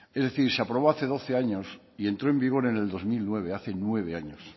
es decir se aprobó hace doce años y entró en vigor en el dos mil nueve hace nueve años